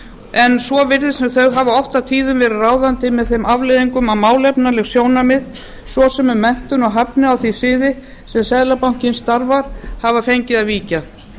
en svo virðist sem þau hafi oft og tíðum verið ráðandi með þeim afleiðingum að málefnaleg sjónarmið svo sem um menntun og hæfni á því sviði sem seðlabankinn starfar hafa fengið að víkja